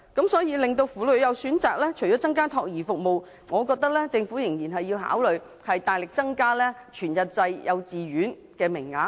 因此，要讓婦女有選擇，除了增加託兒服務外，我覺得政府仍然要考慮大力增加全日制幼稚園名額。